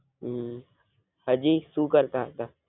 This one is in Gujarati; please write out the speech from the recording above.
હમ હજી સુ કરતા હતા.